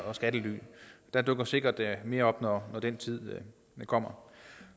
og skattely der dukker sikkert mere op når den tid kommer